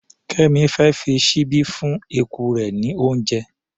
Kẹ́mì fẹ́ fi ṣíbí fún eku rẹ̀ ní oúnjẹ.